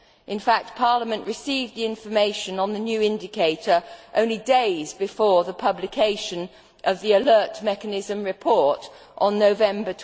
In fact, Parliament received the information on the new indicator only days before the publication of the alert mechanism report in November